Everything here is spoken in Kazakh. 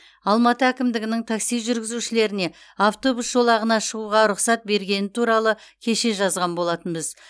алматы әкімдігінің такси жүргізушілеріне автобус жолағына шығуға рұқсат бергені туралы кеше жазған болатынбыз